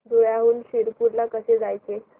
धुळ्याहून शिरपूर ला कसे जायचे